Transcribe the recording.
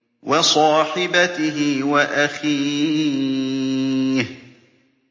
وَصَاحِبَتِهِ وَأَخِيهِ